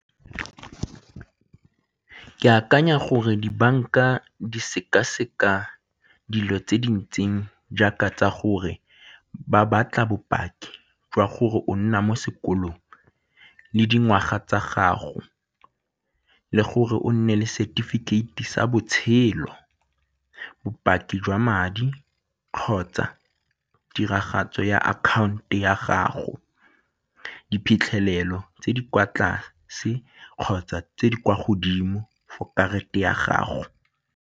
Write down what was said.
Ke akanya gore dibanka di sekaseka dilo tse di ntseng jaaka tsa gore ba batla bopaki jwa gore o nna mo sekolong le dingwaga tsa gago le gore o nne le setefikeiti sa botshelo, bopaki jwa madi kgotsa tiragatso ya account-e ya gago, diphitlhelelo tse di kwa tlase kgotsa tse di kwa godimo for karata ya gago.